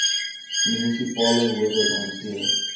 munisipale howe hanteer